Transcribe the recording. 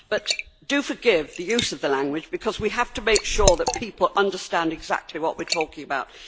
But do forgive the use of the language, because we have to make sure that people understand exactly what we are talking about.